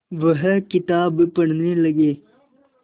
वह किताब पढ़ने लगे